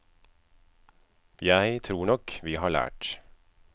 Jeg tror nok vi har lært.